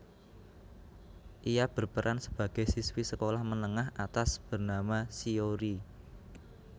Ia berperan sebagai siswi sekolah menengah atas bernama Shiori